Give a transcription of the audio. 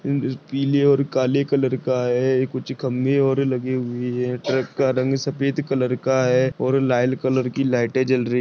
पीले और काले कलर का है। कुच्छ खंबे और लगे हुए है ट्रक का रंग सफ़ेद कलर का है और लाल कलर की लाइटे जल रही--